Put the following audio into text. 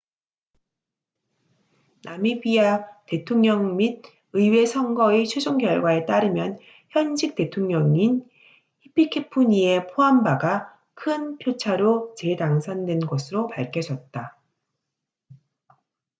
나미비아 대통령 및 의회 선거의 최종 결과에 따르면 현직 대통령인 히피케푸니에 포함바가 큰 표차로 재당선된 것으로 밝혀졌다